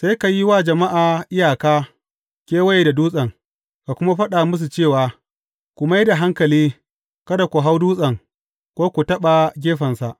Sai ka yi wa jama’a iyaka kewaye da dutsen, ka kuma faɗa musu cewa, Ku mai da hankali, kada ku hau dutsen ko ku taɓa gefensa.